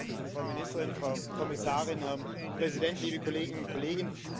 Frau Ministerin, Frau Kommissarin, Herr Präsident, liebe Kolleginnen und Kollegen!